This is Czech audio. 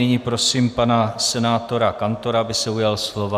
Nyní prosím pana senátora Kantora, aby se ujal slova.